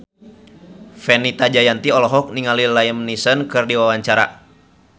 Fenita Jayanti olohok ningali Liam Neeson keur diwawancara